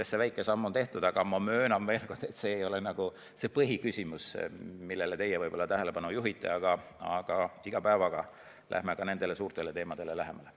See väike samm on siis tehtud, aga ma möönan veel kord, et see ei ole põhiküsimus, millele te tähelepanu juhite, aga iga päevaga läheme ka nendele suurtele teemadele lähemale.